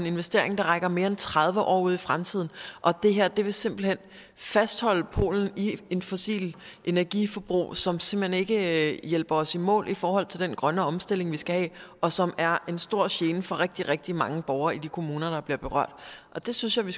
investering der rækker mere end tredive år ud i fremtiden og det her vil simpelt hen fastholde polen i et fossilt energiforbrug som som ikke hjælper os i mål i forhold til den grønne omstilling vi skal have og som er en stor gene for rigtig rigtig mange borgere i de kommuner der bliver berørt det synes jeg vi